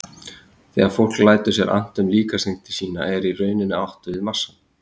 Þegar fólk lætur sér annt um líkamsþyngd sína er í rauninni átt við massann.